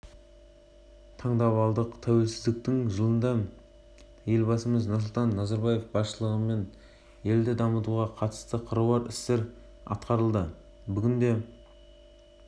веб-деректі форматты егемендікке жету жолындағы қазақстан мен жаңа астанамыз тарихын үлкен аудиторияға жеткізудің тиімді тәсілі ретінде